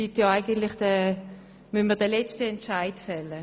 Wir müssen den letzten Entscheid fällen.